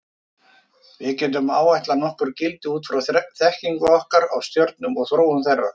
Við getum áætlað nokkur gildi út frá þekkingu okkar á stjörnum og þróun þeirra.